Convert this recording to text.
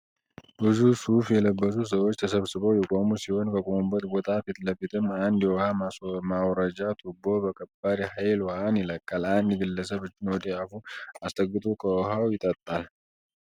ብዙ ሱፍ የለበሱ ሰዎች ተሰብስበው የቆሙ ሲሆን ከቆሙበት ቦታ ፊትለፊትም አንድ የውሃ ማውረጃ ትቦ በከባድ ሃይል ዉሃን ይለቃል። አንድ ግለሰብ እጁን ወደ አፉ አስጠግቶ ከዉሃው ይጠጣል።